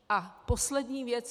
A poslední věc.